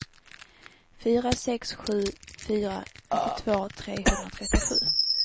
fyra sex sju fyra nittiotvå trehundratrettiosju